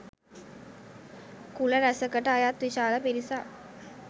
කුල රැසකට අයත් විශාල පිරිසක්